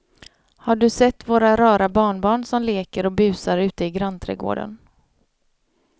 Har du sett våra rara barnbarn som leker och busar ute i grannträdgården!